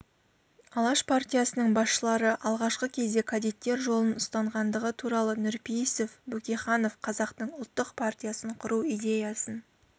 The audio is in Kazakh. алаш партиясының басшылары алғашқы кезде кадеттер жолын ұстанғандығы туралы нұрпейісов бөкейханов қазақтың ұлттық партиясын құру идеясын